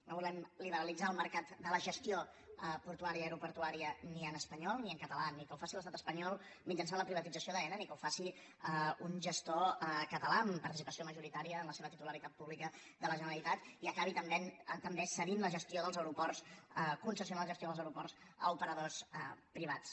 no volem liberalitzar el mercat de la gestió portuària i aeroportuària ni en espanyol ni en català ni que ho faci l’estat espanyol mitjançant la privatització d’aena ni que ho faci un gestor català amb participació majoritària en la seva titularitat pública de la generalitat i acabi també cedint la gestió dels aeroports concessionar la gestió dels aeroports a operadors privats